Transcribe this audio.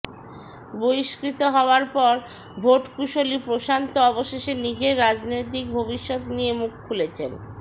বহিষ্কৃত হওয়ার পর ভোটকুশলি প্রশান্ত অবশেষে নিজের রাজনৈতিক ভবিষ্যৎ নিয়ে মুখ খুলেছেন